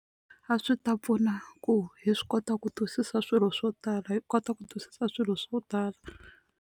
A swi ta pfuna ku hi swi kota ku twisisa swilo swo tala hi kota ku twisisa swilo swo tala.